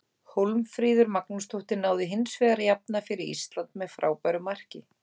Hólmfríður Magnúsdóttir náði hinsvegar að jafna fyrir Ísland með frábæru marki.